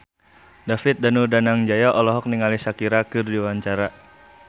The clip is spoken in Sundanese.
David Danu Danangjaya olohok ningali Shakira keur diwawancara